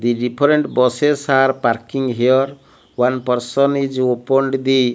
the different buses are parking here one person is opened the --